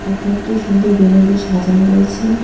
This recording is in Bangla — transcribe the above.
দোকানটি সুন্দর বেলুন দিয়ে সাজানো রয়েছে।